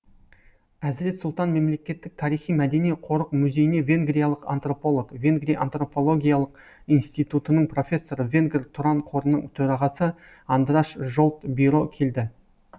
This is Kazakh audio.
әзірет сұлтан мемлекеттік тарихи мәдени қорық музейіне венгриялық антрополог венгрия антропологиялық институтының профессоры венгр тұран қорының төрағасы андраш жолт биро келді